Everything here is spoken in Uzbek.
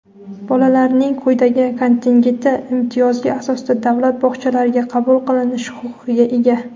bolalarning quyidagi kontingenti imtiyozli asosda davlat bog‘chalariga qabul qilinish huquqiga ega:.